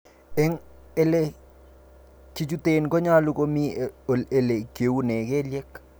En ele kichuten konyolu komii ele kiunen kelyek.